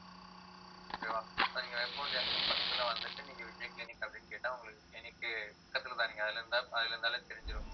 okay வா நீங்க Veppamoodu junction பக்கத்துல வந்துட்டு, நீங்க விஜய் கிளினிக் அப்படின்னு கேட்டா உங்களுக்கு clinic உ பக்கத்துலதான் நீங்க அதுல வந்தா பாதியில வந்தாலே தெரிஞ்சிரும்